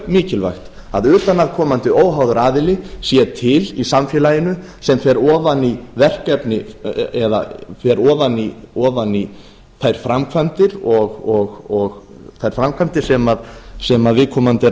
mikilvægt að utanaðkomandi óháður aðili sé til í samfélaginu sem fer ofan í verkefni eða fer ofan í þær framkvæmdir sem viðkomandi